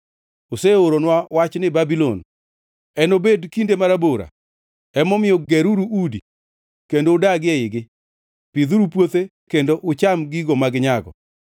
Oseoranwa wachni Babulon: Enobed kinde marabora. Emomiyo geruru udi kendo udagie eigi; pidhuru puothe kendo ucham gigo ma ginyago.’ ”